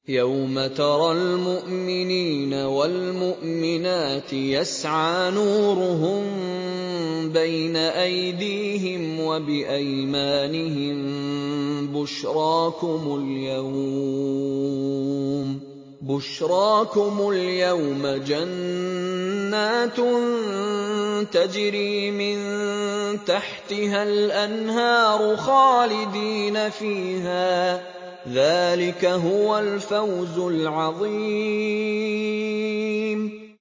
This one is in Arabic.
يَوْمَ تَرَى الْمُؤْمِنِينَ وَالْمُؤْمِنَاتِ يَسْعَىٰ نُورُهُم بَيْنَ أَيْدِيهِمْ وَبِأَيْمَانِهِم بُشْرَاكُمُ الْيَوْمَ جَنَّاتٌ تَجْرِي مِن تَحْتِهَا الْأَنْهَارُ خَالِدِينَ فِيهَا ۚ ذَٰلِكَ هُوَ الْفَوْزُ الْعَظِيمُ